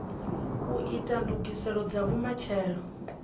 u ita ndugiselo dza vhumatshelo